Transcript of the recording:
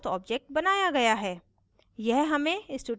जैसे कि 4th object बनाया गया है